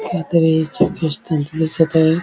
कायतरी येशु ख्रिस्थानच दिसत आहे.